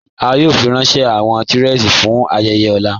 A yòò fírànṣẹ̀ awọn tìrẹé fún ayéyè ọ̀là